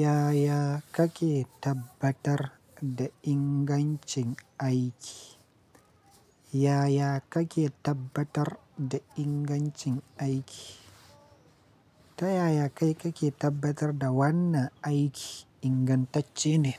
Yaya kake tabbatar da ingancin aiki? Yaya kake tabbatar da ingancin aiki? Ta yaya kai kake tabbatar da wannan aiki ingantacce ne?